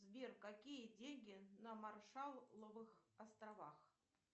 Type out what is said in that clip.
сбер какие деньги на маршалловых островах